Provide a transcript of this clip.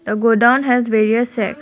the godown has various sets